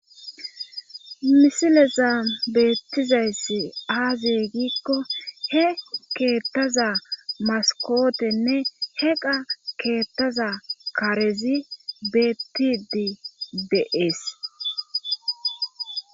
misileza beettizayssi aaze giikko he keettaza maskotenne he qa keettaza karezi beettidi de'ees